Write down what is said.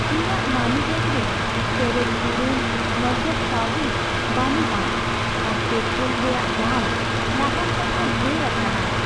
ᱤᱧᱟᱹᱜ ᱢᱟᱹᱱᱤᱵᱮᱜ ᱨᱮ ᱯᱮᱨᱮᱡ ᱯᱩᱨᱩᱱ ᱱᱚᱜᱚᱫ ᱠᱟᱹᱣᱰᱤ ᱵᱟᱹᱱᱩᱜᱼᱟ ᱟᱨ ᱯᱮᱴᱨᱳᱞ ᱨᱮᱭᱟᱜ ᱫᱟᱢ ᱞᱟᱦᱟ ᱠᱷᱚᱱ ᱦᱚᱸ ᱰᱷᱮᱨ ᱟᱠᱟᱱᱟ ᱾